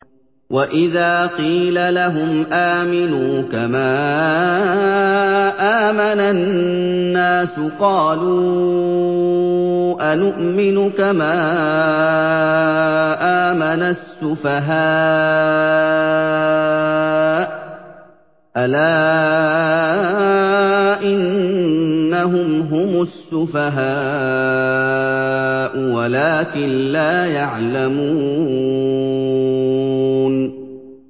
وَإِذَا قِيلَ لَهُمْ آمِنُوا كَمَا آمَنَ النَّاسُ قَالُوا أَنُؤْمِنُ كَمَا آمَنَ السُّفَهَاءُ ۗ أَلَا إِنَّهُمْ هُمُ السُّفَهَاءُ وَلَٰكِن لَّا يَعْلَمُونَ